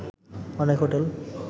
অনেক হোটেল